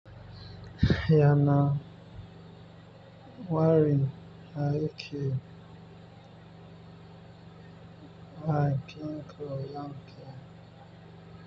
Ya na wari aike wa aikin koyarwa.